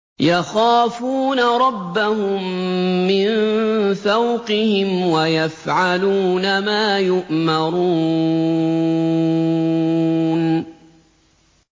يَخَافُونَ رَبَّهُم مِّن فَوْقِهِمْ وَيَفْعَلُونَ مَا يُؤْمَرُونَ ۩